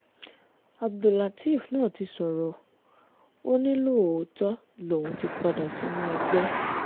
abdullateef náà ti sọ̀rọ̀ ó ní lóòótọ́ lòún ti padà sínú ẹgbẹ́